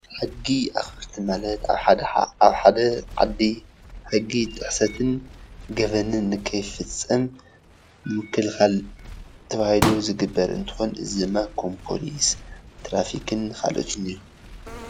ሕጊ አክበርቲ ማለት ኣብ ሓደ ኣብ ሓደ ዓዲ ሕጊ ጥሕሰትን ገበንን ንከይፍፀም ምክልካል ተባሂሉ ዝግበር እንትኮን እዚ ድማ ከም ፖሊስ፣ ትራፊክን ካልኦትን እዮም፡፡